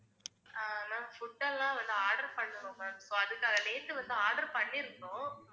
ஆஹ் ma'amfood எல்லாம் வந்து order பண்ணனும் ma'am, so அதுக்காக, நேத்து வந்து order பண்ணிருந்தோம்.